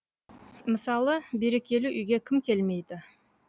мысалы берекелі үйге кім келмейді